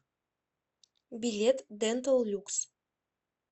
билет дентал люкс